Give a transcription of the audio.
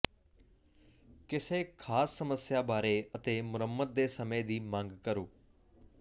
ਕਿਸੇ ਖਾਸ ਸਮੱਸਿਆ ਬਾਰੇ ਅਤੇ ਮੁਰੰਮਤ ਦੇ ਸਮੇਂ ਦੀ ਮੰਗ ਕਰੋ